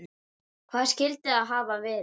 Hvað skyldi það hafa verið?